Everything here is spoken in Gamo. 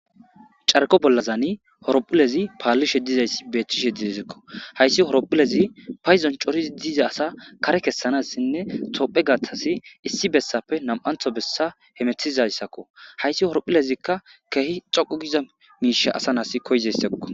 carko bollazani horophulezi paallishe dizayssi beettishe didizikko hayssi horophulezi payzon corizi diza asa kare kessanassinne toophe gaatasi issi bessape nam7antho bessa hemethizayssakko hayssi horophulezikka kehi coqu giza miisha asa nas koyzayssekko